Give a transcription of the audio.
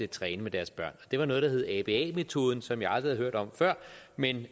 træne med deres børn det var efter noget der hed aba metoden som jeg aldrig havde hørt om før men